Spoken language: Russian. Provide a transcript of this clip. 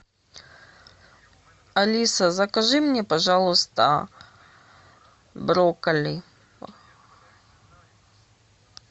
алиса закажи мне пожалуйста брокколи